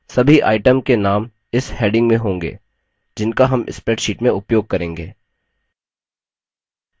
सभी item चीज के names इस heading में होंगे जिनका names spreadsheet में उपयोग करेंगे